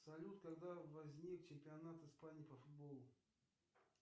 салют когда возник чемпионат испании по футболу